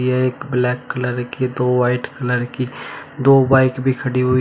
यह एक black colour की दो वाइट कलर की दो बाइक भी खड़ी हुई--